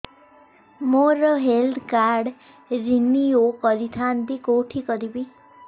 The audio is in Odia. ମୋର ହେଲ୍ଥ କାର୍ଡ ରିନିଓ କରିଥାନ୍ତି କୋଉଠି କରିବି